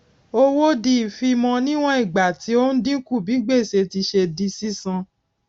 owó di ìfimọ níwòn ìgbà tí ó ń dínkù bí gbèsè tí ṣe di sísan